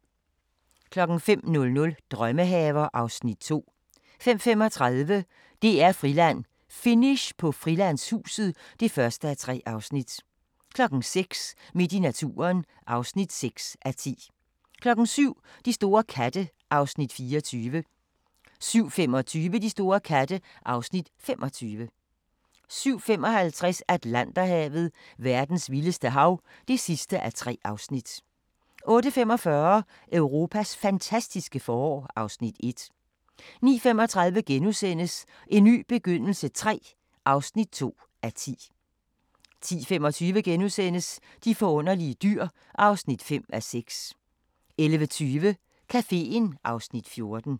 05:00: Drømmehaver (Afs. 2) 05:35: DR-Friland: Finish på Frilandshuset (1:3) 06:00: Midt i naturen (6:10) 07:00: De store katte (Afs. 24) 07:25: De store katte (Afs. 25) 07:55: Atlanterhavet: Verdens vildeste hav (3:3)* 08:45: Europas fantastiske forår (Afs. 1) 09:35: En ny begyndelse III (2:10)* 10:25: De forunderlige dyr (5:6)* 11:20: Caféen (Afs. 14)